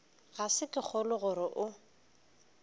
ga ke kgolwe gore o